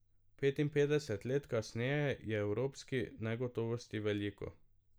Petinpetdeset let kasneje je evropskih negotovosti veliko.